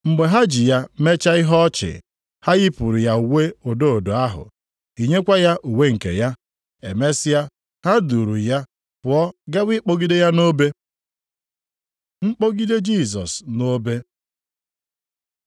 Mgbe ha ji ya mechaa ihe ọchị, ha yipụrụ ya uwe odo odo ahụ, yinyekwa ya uwe nke ya. Emesịa, ha duuru ya pụọ gawa ịkpọgide ya nʼobe. Mkpọgide Jisọs nʼobe